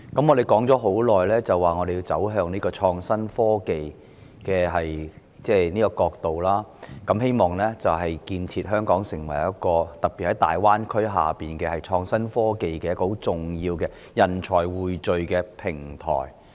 我們倡議走向創新科技已久，希望建設香港成為一個——特別是在大灣區的發展下——匯聚創新科技人才的重要平台。